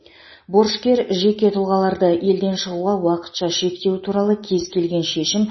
борышкер жеке тұлғаларды елден шығуға уақытша шектеу туралы кез келген шешім